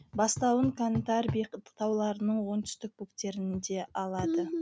бастауын кантарби тауларының оңтүстік бөктерінде алады